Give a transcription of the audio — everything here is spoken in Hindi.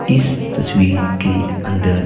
इस तस्वी के अंदर--